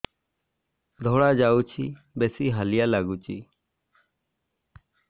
ଧଳା ଯାଉଛି ବେଶି ହାଲିଆ ଲାଗୁଚି